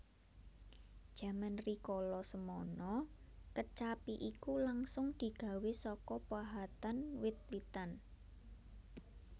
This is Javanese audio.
Jaman rikala semana kecapi iku langsung digawé saka pahatan wit witan